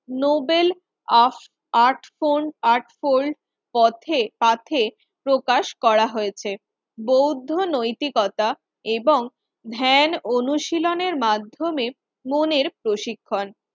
Nobel of আর্টফোন eightfold পথে পাথে প্রকাশ করা হয়েছে। বৌদ্ধ নৈতিকতা এবং ধ্যান অনুশীলনের মাধ্যমে মনের প্রশিক্ষণ